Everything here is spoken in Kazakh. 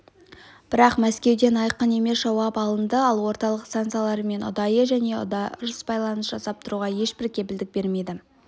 бірақ мәскеуден айқын емес жауап алынды ол орталық станциялармен ұдайы және дұрыс байланыс жасап тұруға ешбір кепілдік бермейді